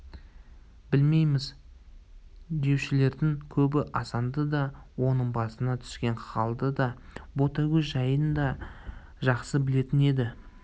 білмейміз деушілердің көбі асанды да оның басына түскен халды да ботагөз жайын да жақсы білетін еді